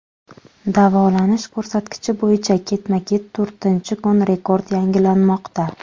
Davolanish ko‘rsatkichi bo‘yicha ketma-ket to‘rtinchi kun rekord yangilanmoqda.